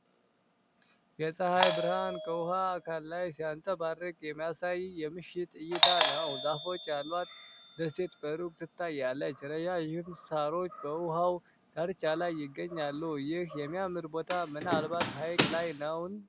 የፀሐይ ብርሃን ከውኃ አካል ላይ ሲያንፀባርቅ የሚያሳይ የምሽት እይታ ነው። ዛፎች ያሏት ደሴት በሩቅ ትታያለች። ረጃጅም ሳሮች በውኃው ዳርቻ ላይ ይገኛሉ። ይህ የሚያምር ቦታ ምናልባት ሐይቅ ላይ ነውን?